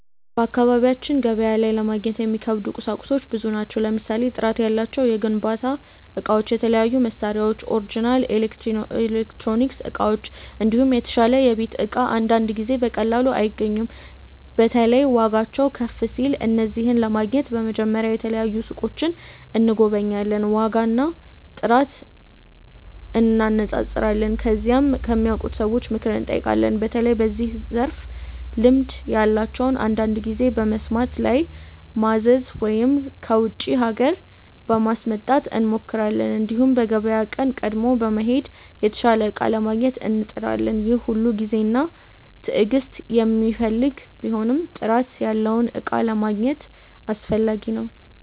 በአካባቢያችን ገበያ ላይ ለማግኘት የሚከብዱ ቁሳቁሶች ብዙ ናቸው። ለምሳሌ ጥራት ያላቸው የግንባታ እቃዎች፣ የተለያዩ መሳሪያዎች፣ ኦሪጅናል ኤሌክትሮኒክስ እቃዎች፣ እንዲሁም የተሻለ የቤት እቃ አንዳንድ ጊዜ በቀላሉ አይገኙም። በተለይ ዋጋቸው ከፍ ሲል። እነዚህን ለማግኘት በመጀመሪያ የተለያዩ ሱቆችን እንጎበኛለን፣ ዋጋና ጥራት እንነጻጸራለን። ከዚያም ከሚያውቁ ሰዎች ምክር እንጠይቃለን፣ በተለይ በዚያ ዘርፍ ልምድ ያላቸውን። አንዳንድ ጊዜ በመስመር ላይ ማዘዝ ወይም ከውጪ ሀገር ለማስመጣት እንሞክራለን። እንዲሁም በገበያ ቀን ቀድሞ በመሄድ የተሻለ እቃ ለማግኘት እንጥራለን። ይህ ሁሉ ጊዜና ትዕግስት የሚፈልግ ቢሆንም ጥራት ያለውን እቃ ለማግኘት አስፈላጊ ነው።